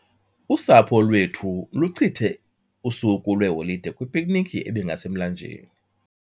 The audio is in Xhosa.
Usapho lwethu luchithe usuku lweholide kwipiknikhi ebingasemlanjeni.